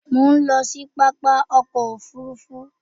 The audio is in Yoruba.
Mo ń lọ sí pápá ọkọ òfuurufú